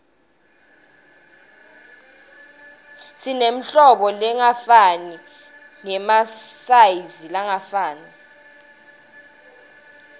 simetirhlobo letingafani nemasayizilangafani